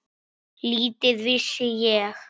Lítið vissi ég.